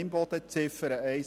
Imboden: Ziffer 1: